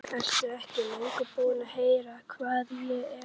Ertu ekki löngu búinn að heyra hvað ég er eitthvað.